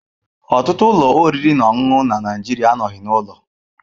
Ọtụtụ ụlọ oriri na ọṅụṅụ na Nigeria anọghị n'ụlọ.